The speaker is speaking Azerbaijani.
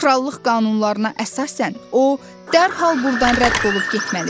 krallıq qanunlarına əsasən o dərhal burdan rədd olub getməlidir.